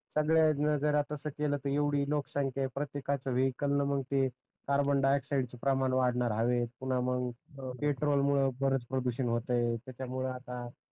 संगल्यान जर अस केल त एवढी लोकसंख्या आहे वेहिकल न मग ते कार्बन डाय ऑक्साइड च प्रमाण वाढणर हवेत पुन्हा मग पेट्रोल मुळ बऱ्याच प्रदूषण होत त्याच्यामुळ आता